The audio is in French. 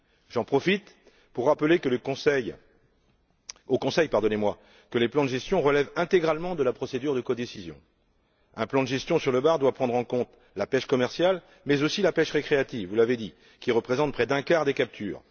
J'en profite pour rappeler au Conseil que les plans de gestion relèvent intégralement de la procédure de codécision. Un plan de gestion sur le bar doit prendre en compte la pêche commerciale, mais aussi la pêche récréative, vous l'avez dit, qui représente près d'un quart des captures.